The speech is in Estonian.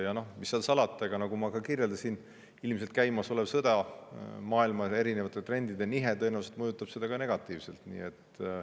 Ja noh, mis seal salata, nagu ma kirjeldasin: ilmselt ka käimasolev sõda, erinevate trendide nihe maailmas mõjutab seda negatiivselt.